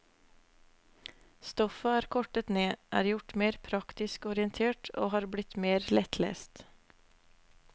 Stoffet er kortet ned, er gjort mer praktisk orientert og har blitt mer lettlest.